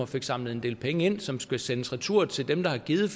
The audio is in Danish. fik samlet en del penge ind som skal sendes retur til dem der har givet